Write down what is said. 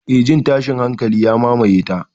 Eh, jin tashin hankali ya mamaye ta.